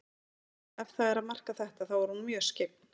Já, ef það er að marka þetta, þá er hún mjög skyggn.